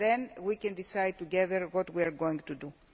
Then we can decide together what we are going to do.